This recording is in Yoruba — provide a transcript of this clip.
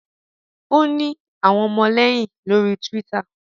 o ni awọn ọmọlẹyin lori twitter